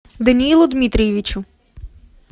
даниилу дмитриевичу